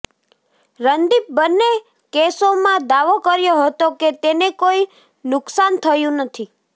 રંદીપ બંને કેસોમાં દાવો કર્યો હતો કે તેને કોઈ નુકસાન થયું નથી